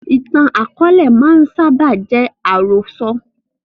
Ìtàn akọ̀ọ̀lẹ máa ń sábà jẹ́ ìtàn àròsọ̀